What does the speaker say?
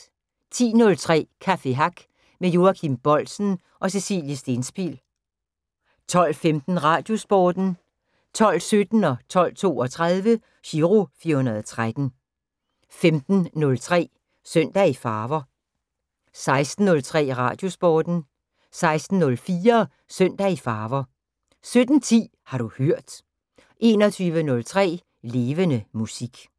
10:03: Café Hack med Joachim Boldsen og Cecilie Stenspil 12:15: Radiosporten 12:17: Giro 413 12:32: Giro 413 15:03: Søndag i Farver 16:03: Radiosporten 16:04: Søndag i Farver 17:10: Har du hørt 21:03: Levende Musik